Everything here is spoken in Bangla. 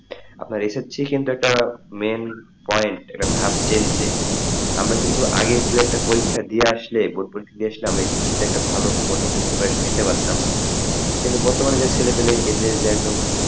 আপনার SSC কিন্তু একটা main point একটা ধাপ আমরা একটা কিন্তু আগে দু একটা যদি একটা পরীক্ষা দিয়ে আসলে board পরীক্ষা দিয়ে আসলে আমরা SSC ভালো একটা মোটামুটি preparation নিতে পারতাম কিন্তু বর্তমান যে ছেলে ফেলে এদের যে একদম,